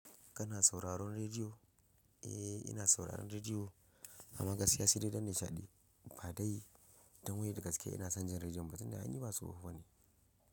Kana sauraron radio? Eh, ina sauraron radiyo, amma gaskiya sai da inban da chaji. Ba ɗai don wai da gaske ina son jin rediyon ba tun da ai ni ba suho ba ne.